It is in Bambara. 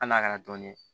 Hali n'a kɛra dɔɔnin ye